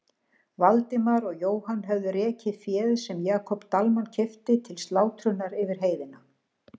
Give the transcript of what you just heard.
Valdimar og Jóhann höfðu rekið féð sem Jakob Dalmann keypti til slátrunar yfir heiðina.